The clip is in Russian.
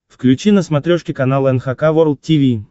включи на смотрешке канал эн эйч кей волд ти ви